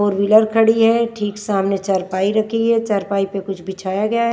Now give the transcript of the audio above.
For wheeler खड़ी है ठीक सामने चरपाई रखी है चरपाई पे कुछ बिछाया गया है।